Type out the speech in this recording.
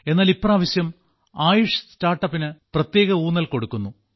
എന്നാൽ ഇപ്രാവശ്യം ആയുഷ് സ്റ്റാർട്ടപ്പിന് പ്രത്യേക ഊന്നൽ കൊടുക്കുന്നു